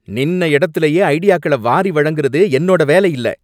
நின்ன இடத்துலயே ஐடியாக்களை வாரி வழங்குறது என்னோட வேலை இல்ல